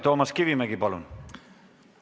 Toomas Kivimägi, palun!